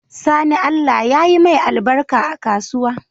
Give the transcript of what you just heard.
Sani allah yayi mai albarka a kasuwa